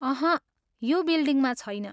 अहँ, यो बिल्डिङमा छैन।